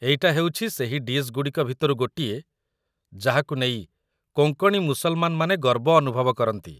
ଏଇଟା ହେଉଛି ସେହି ଡିଶ୍‌ଗୁଡ଼ିକ ଭିତରୁ ଗୋଟିଏ ଯାହାକୁ ନେଇ କୋଙ୍କଣୀ ମୁସଲମାନମାନେ ଗର୍ବ ଅନୁଭବ କରନ୍ତି ।